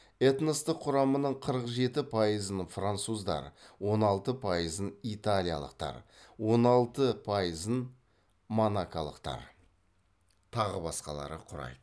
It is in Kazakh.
этностық құрамының қырық жеті пайызын француздар он алты пайызын италиялықтар он алты пайызын монаколықтар тағы басқалары құрайды